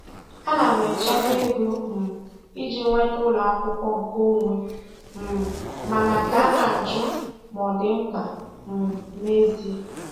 Ana m echekwa ego um iji nweta ụlọ akwụkwọ nkeonwe, um mana ka na-ajụ ma ọ dị mkpa um n'ezie.